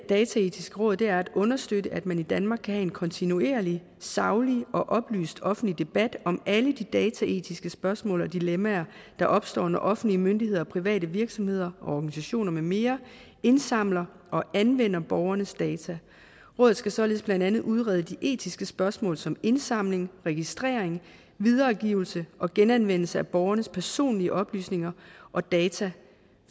dataetiske råd er at understøtte at man i danmark kan have en kontinuerlig saglig og oplyst offentlig debat om alle de dataetiske spørgsmål og dilemmaer der opstår når offentlige myndigheder og private virksomheder og organisationer med mere indsamler og anvender borgernes data rådet skal således blandt andet udrede de etiske spørgsmål som indsamling registrering videregivelse og genanvendelse af borgernes personlige oplysninger og data